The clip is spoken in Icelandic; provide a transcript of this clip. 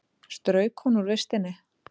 Strauk hún úr vistinni?